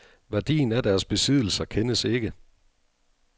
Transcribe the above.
Værdien af deres besiddelser kendes ikke.